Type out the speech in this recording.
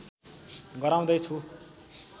गराउँदै छु